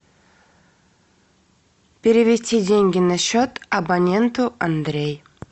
перевести деньги на счет абоненту андрей